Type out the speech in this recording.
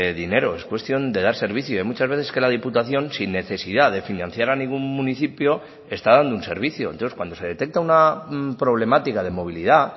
dinero es cuestión de dar servicio y muchas veces que la diputación sin necesidad de financiar a ningún municipio está dando un servicio entonces cuando se detecta una problemática de movilidad